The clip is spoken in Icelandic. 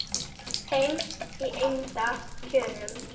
heims í eymda kjörum